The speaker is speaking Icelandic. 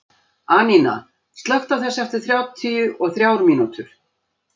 Anína, slökktu á þessu eftir áttatíu og þrjár mínútur.